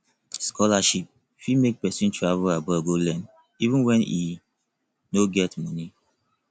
scholarship fit make pesin travel abroad go learn even when e no get money